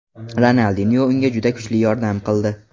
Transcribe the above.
Ronaldinyo unga juda kuchli yordam qildi.